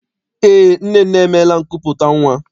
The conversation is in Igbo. Eé, Nnenne emeela nkupụta nnwa.